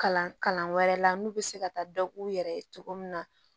Kalan kalan wɛrɛ la n'u bɛ se ka taa dɔ k'u yɛrɛ ye cogo min na